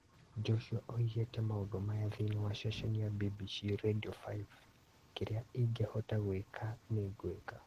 Joshua oigĩte maũndũ maya thĩinĩ wa ceceni ya BBC Redio 5 "kĩrĩa ingĩhota gwĩka nĩngwĩka"